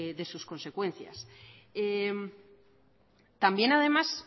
de sus consecuencias también además